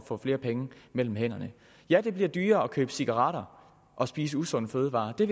får flere penge mellem hænderne ja det bliver dyrere at købe cigaretter og spise usunde fødevarer og det